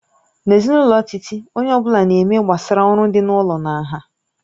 N'ezinụlọ Titi, onye ọ bụla na-eme gbasara oru dị n'ụlọ na nha